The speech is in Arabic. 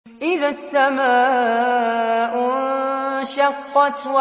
إِذَا السَّمَاءُ انشَقَّتْ